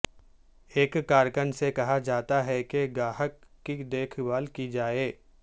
ایک کارکن سے کہا جاتا ہے کہ گاہک کی دیکھ بھال کی جائے